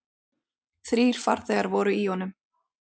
Þrír farþegar voru í honum.